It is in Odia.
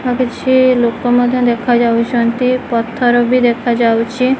କିଛି ଲୋକ ମାନେ ଦେଖା ଯାଉଛନ୍ତି ପଥର ବି ଦେଖା ଯାଉଛି।